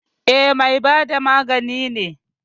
E, mai bada magani ne.